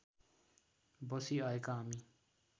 बसी आएका हामी